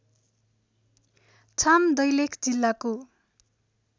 छाम दैलेख जिल्लाको